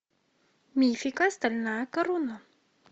мифика стальная корона